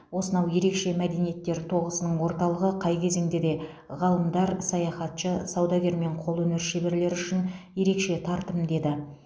осынау ерекше мәдениеттер тоғысының орталығы қай кезеңде де ғалымдар саяхатшы саудагер мен қолөнер шеберлері үшін ерекше тартымды еді